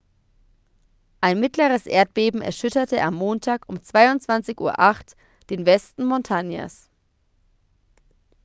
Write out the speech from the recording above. ein mittleres erdbeben erschütterte am montag um 22:08 uhr den westen montanas